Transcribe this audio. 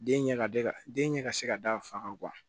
Den ɲɛ ka d'a ka den ɲɛ ka se ka da fa kan